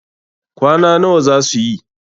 kwana nawa za su yi?